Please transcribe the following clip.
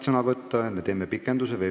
Kas pikendame istungi aega või mitte?